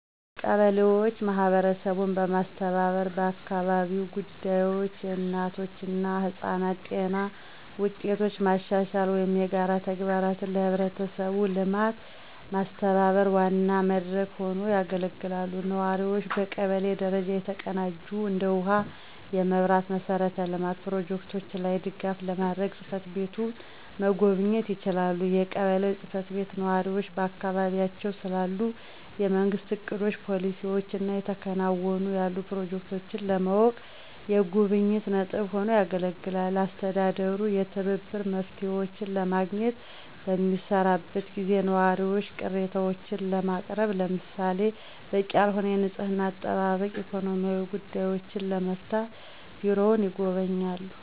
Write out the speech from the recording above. ቀበሌዎች ማህበረሰቡን በማስተባበር በአካባቢያዊ ጉዳዮች፣ የእናቶች እና ህጻናት ጤና ውጤቶች ማሻሻል ወይም የጋራ ተግባራትን ለህብረተሰቡ ልማት ማስተባበር ዋና መድረክ ሆነው ያገለግላሉ። ነዋሪዎቹ በቀበሌ ደረጃ የተቀናጁ እንደ ውሃ፣ የመብራት መሠረተ ልማት ፕሮጀክቶች ላይ ድጋፍ ለማግኘት ጽ/ቤቱን መጎብኘት ይችላሉ። የቀበሌው ጽ/ቤት ነዋሪዎች በአካባቢያቸው ስላሉ የመንግስት እቅዶች፣ ፖሊሲዎች እና እየተከናወኑ ያሉ ፕሮጀክቶችን ለማወቅ የጉብኝት ነጥብ ሆኖ ያገለግላል። አስተዳደሩ የትብብር መፍትሄዎችን ለማግኘት በሚሰራበት ጊዜ ነዋሪዎች ቅሬታዎችን ለማቅረብ ለምሳሌ - በቂ ያልሆነ የንፅህና አጠባበቅ፣ ኢኮኖሚያዊ ጉዳዮችን ለመፍታት ቢሮውን ይጎበኛሉ።